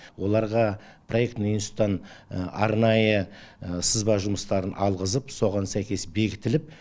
оларға проектный институттан арнайы сызба жұмыстарын алғызып соған сәйкес бекітіліп